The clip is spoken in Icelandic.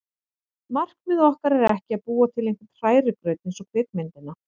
Markmið okkar er ekki að búa til einhvern hrærigraut eins og kvikmyndina